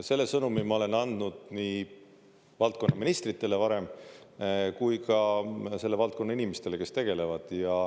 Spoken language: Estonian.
Selle sõnumi ma olen andnud nii valdkonna ministritele varem kui ka selle valdkonna inimestele, kes tegelevad.